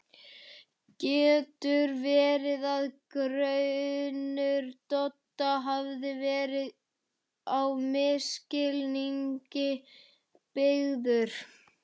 Getur verið að grunur Dodda hafi verið á misskilningi byggður?